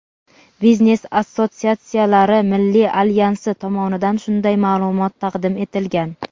Biznes-assotsiatsiyalari milliy alyansi tomonidan shunday ma’lumot taqdim etilgan.